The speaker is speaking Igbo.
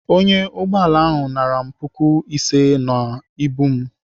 Ọnyá ụgbọala ahụ nara m puku ise n'ibu m.